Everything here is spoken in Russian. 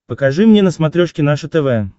покажи мне на смотрешке наше тв